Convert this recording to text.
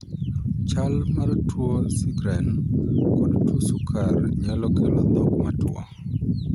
Chal mar tuo 'Sjgren' kod tuo sukar nyako kelo thok matwo.